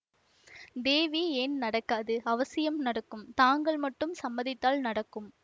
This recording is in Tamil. தேவி ஏன் நடக்காது அவசியம் நடக்கும் தாங்கள் மட்டும் சம்மதித்தால் நடக்கும்